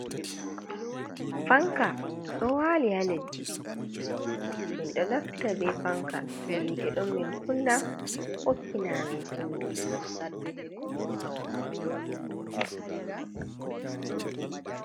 Fanka ɗo wali ha leddi, min ɗo naftira be fanka to hite ɗon min kunna ɓokkina amin hendu.